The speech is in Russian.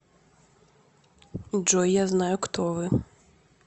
джой я знаю кто вы